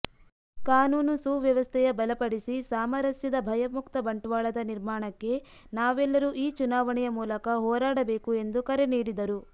ಕಾನೂನು ಸುವ್ಯವಸ್ಥೆಯ ಬಲಪಡಿಸಿ ಸಾಮರಸ್ಯದ ಭಯಮುಕ್ತ ಬಂಟ್ವಾಳದ ನಿರ್ಮಾಣಕ್ಕೆ ನಾವೆಲ್ಲರೂ ಈ ಚುನಾವಣೆಯ ಮೂಲಕ ಹೋರಾಡಬೇಕು ಎಂದು ಕರೆ ನೀಡಿದರು